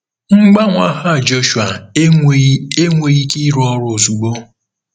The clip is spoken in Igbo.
Mgbanwe aha Jọshụa enweghị enweghị ike ịrụ ọrụ ozugbo.